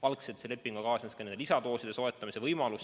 Algselt kaasnes selle lepinguga ka lisadooside soetamise võimalus.